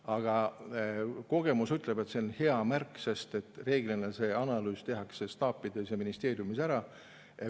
Aga kogemus ütleb, et see on hea märk, sest reeglina see analüüs tehakse staapides ja ministeeriumis ära.